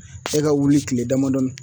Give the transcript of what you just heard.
E ka wuli kile damadɔni